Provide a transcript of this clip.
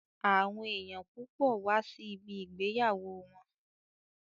Àwọn èèyàn púpọ̀ wá sí ibi ìgbéyàwó wọn